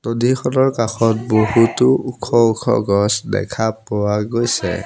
নদীখনৰ কাষত বহুতো ওখ ওখ গছ দেখা পোৱা গৈছে।